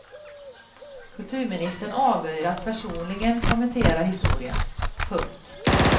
Kulturministern avböjer att personligen kommentera historien. punkt